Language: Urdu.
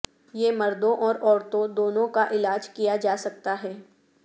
یہ مردوں اور عورتوں دونوں کا علاج کیا جا سکتا ہے